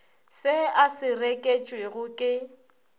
se a se reketšwego ke